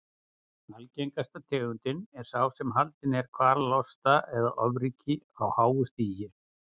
Algengasta tegundin er sá sem haldinn er kvalalosta eða ofríki á háu stigi.